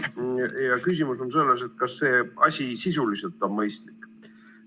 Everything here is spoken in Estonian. Ja küsimus on selles, kas see asi sisuliselt on mõistlik.